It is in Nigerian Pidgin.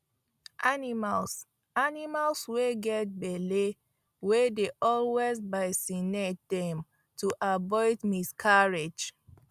animals animals wy get belle we dey always vacinate dem to avoid miscarrige